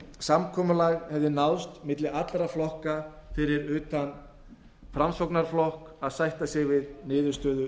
samkomulag hefði náðst milli allra flokka fyrir utan framsóknarflokk að sætta sig við niðurstöðu